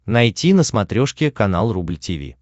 найти на смотрешке канал рубль ти ви